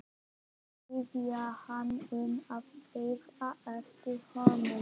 Biðja hana um að bíða eftir honum.